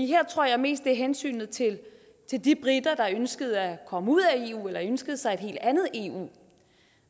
her tror jeg mest det er hensynet til de briter der ønskede at komme ud af eu eller ønskede sig et helt andet eu